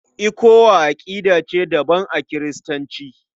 ECWA aƙidar ce daban a Kiristanci.